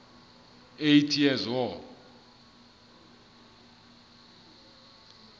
eighty years war